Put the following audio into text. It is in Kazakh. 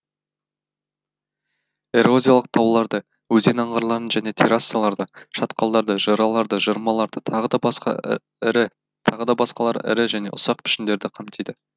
эрозиялық тауларды өзен аңғарларын және террасаларды шатқалдарды жыраларды жырмаларды тағы да басқалары ірі және ұсақ пішіндерді қамтиды